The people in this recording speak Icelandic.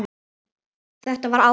Þetta var áfall.